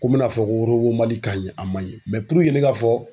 Ko n bena fɔ ko orobomali kaɲi a manɲi Mɛ puruke ne k'a fɔ